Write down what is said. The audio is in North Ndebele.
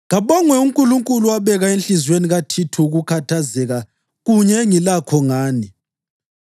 Kabongwe uNkulunkulu owabeka enhliziyweni kaThithu ukukhathazeka kunye engilakho ngani.